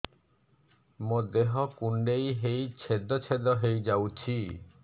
ମୋ ଦେହ କୁଣ୍ଡେଇ ହେଇ ଛେଦ ଛେଦ ହେଇ ଯାଉଛି